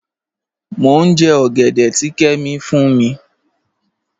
Mọ̀ n jẹ́ ogẹ̀dẹ̀ tì Kẹ́mí fún mi.